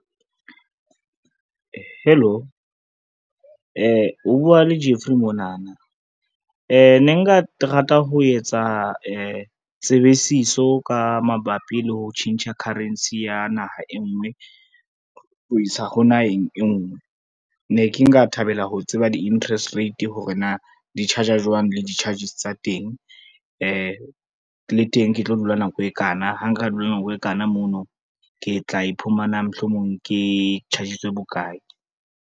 Hello, o bua le Jeffery monana, ne nka rata ho etsa tsebisiso ka mabapi le ho tjhentjha currency ya naha e ngwe, ho isa ho naheng e ngwe. Ne ke nka thabela ho tseba di-interest rate hore na di-charge-a jwang le di-charges tsa teng, le teng ke tlo dula nako e kana, ha nka dula nako e kana mono ke tla iphumana mohlomong ke charge-itswe bokae.